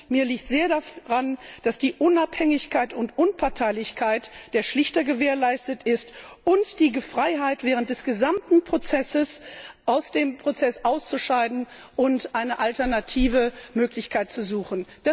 Mir liegt sehr daran, dass die Unabhängigkeit und Unparteilichkeit der Schlichter gewährleistet ist, ebenso die Freiheit, während des gesamten Prozesses aus dem Prozess auszuscheiden und eine alternative Möglichkeit zu suchen.